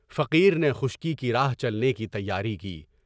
فقیر نے خشکی کی راہ چلنے کی تیاری کی۔